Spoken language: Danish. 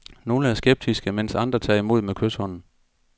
Nogle er skeptiske, mens andre tager imod med kyshånd.